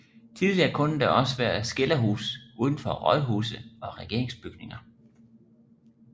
Tidligere kunne der også være skilderhus udenfor rådhuse og regeringsbygninger